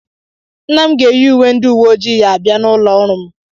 Nna m ga-eyi uwe ndị uwe ojii ya abịa n'ụlọ ọrụ m.